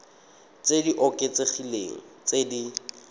tse di oketsegileng tse di